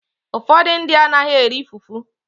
Ụfọdụ ndị anaghị eri fufu.